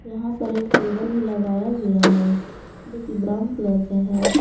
यहां पर एक टेबल भी लगाया गया है जो कि ब्राउन कलर का है।